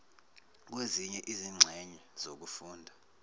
kwezinye izingxenye zokufunda